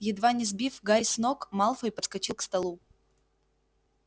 едва не сбив гарри с ног малфой подскочил к столу